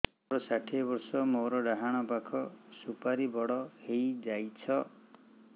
ମୋର ଷାଠିଏ ବର୍ଷ ମୋର ଡାହାଣ ପାଖ ସୁପାରୀ ବଡ ହୈ ଯାଇଛ